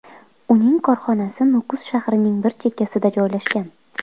Uning korxonasi Nukus shahrining bir chekkasida joylashgan.